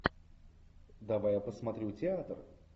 давай я посмотрю театр